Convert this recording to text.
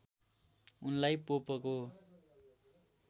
उनलाई पोपको